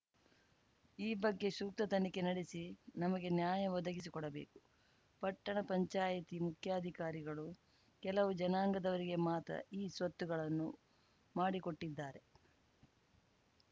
ಈ ಬಗ್ಗೆ ಸೂಕ್ತ ತನಿಖೆ ನಡೆಸಿ ನಮಗೆ ನ್ಯಾಯ ಒದಗಿಸಿಕೊಡಬೇಕು ಪಟ್ಟಣ ಪಂಚಾಯಿತಿ ಮುಖ್ಯಾಧಿಕಾರಿಗಳು ಕೆಲವು ಜನಾಂಗದವರಿಗೆ ಮಾತ್ರ ಇಸ್ವತ್ತುಗಳನ್ನು ಮಾಡಿಕೊಟ್ಟಿದ್ದಾರೆ